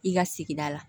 I ka sigida la